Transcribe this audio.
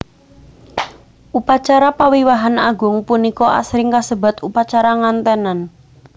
Upacara pawiwahan agung punika asring kasebat upacara nganténan